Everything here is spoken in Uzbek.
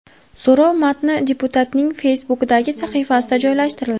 So‘rov matni deputatning Facebook’dagi sahifasida joylashtirildi .